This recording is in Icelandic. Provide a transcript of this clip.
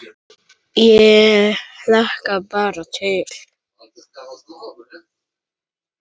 Ég hlakka bara til